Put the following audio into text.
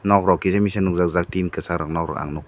nokrok kisamisa nujajak tin kwchak nokrok ang nukha.